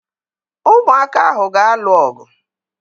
Ụmụaka ahụ ga-alụ ọgụ.